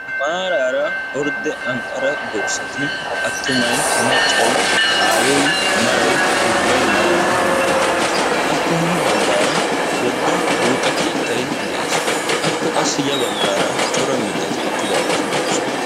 Maarara ordde anqara dorssay attumay maccay aayoy maray ubay maarara hemettiidi de'ees. appe hini baggara wogga buuxa keettay de'ees. appe qassi ya baggara mittati eqqidaageti doosona.